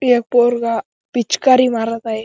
एक पोरगा पिचकारी मारत आहे.